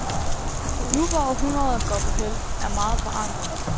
Nu, hvor århundredet går på hæld, er meget forandret.